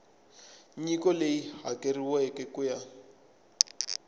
nyiko leyi hakeriweke ku ya